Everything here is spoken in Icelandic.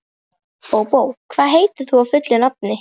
Bóbó, hvað heitir þú fullu nafni?